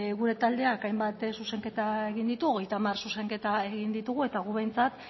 gure taldeak hainbat zuzenketa egin ditu hogeita hamar zuzenketa egin ditugu eta gu behintzat